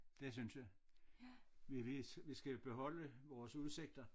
Det synes jeg vi vi vi skal beholde vores udsigter